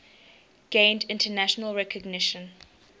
gained international recognition